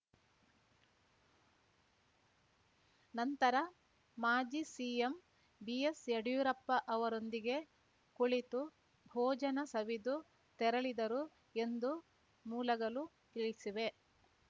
ನಂತರ ಮಾಜಿ CM BS Yediyurappa ಅವರೊಂದಿಗೆ ಕುಳಿತು ಭೋಜನ ಸವಿದು ತೆರಳಿದರು ಎಂದು ಮೂಲಗಳು ತಿಳಿವೆ